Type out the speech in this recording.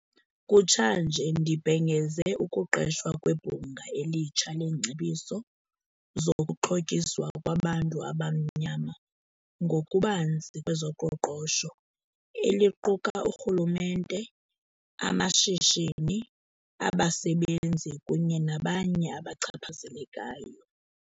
Kutshanje, ndibhengeze ukuqeshwa kweBhunga elitsha leeNgcebiso zokuXhotyiswa kwabantu abaMnyama ngokuBanzi kwezoQoqosho, eliquka urhulumente, amashishini, abasebenzi kunye nabanye abachaphazelekayo.